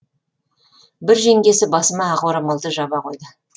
бір жеңгесі басыма ақ орамалды жаба қойды